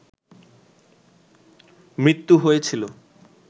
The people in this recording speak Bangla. মৃত্যু হয়েছিল